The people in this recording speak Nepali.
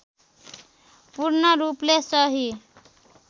पूर्ण रूपले सही